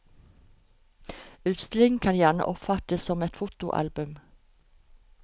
Utstillingen kan gjerne oppfattes som et fotoalbum.